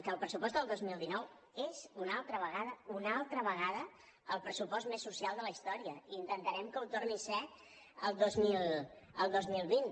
que el pressupost del dos mil dinou és una altra vegada una altra vegada el pressupost més social de la història i intentarem que ho torni a ser el dos mil vint